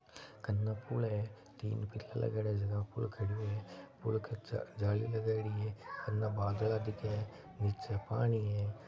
कन पुल है तीन पिलर लगायेडा हैंजका पर पुल खड़ो है पुल के जाली लगायेड़ी है इने बांदरा दिखे है नीचे पाणी हैं।